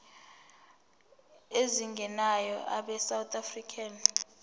ezingenayo abesouth african